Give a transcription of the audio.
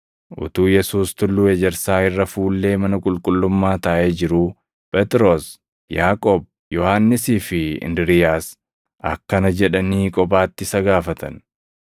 Utuu Yesuus Tulluu Ejersaa irra fuullee mana qulqullummaa taaʼee jiruu Phexros, Yaaqoob, Yohannisii fi Indiriiyaas akkana jedhanii kophaatti isa gaafatan;